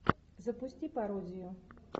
запусти пародию